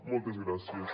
moltes gràcies